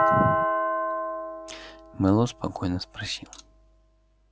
мэллоу спокойно спросил